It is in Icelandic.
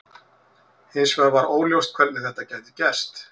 Hins vegar var óljóst hvernig þetta gæti gerst.